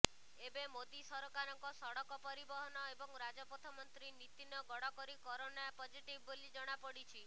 ଏବେ ମୋଦୀ ସରକାରଙ୍କ ସଡ଼କ ପରିବହନ ଏବଂ ରାଜପଥ ମନ୍ତ୍ରୀ ନିତିନ ଗଡ଼କରୀ କରୋନା ପଜେଟିଭ୍ ବୋଲି ଜଣାପଡିଛି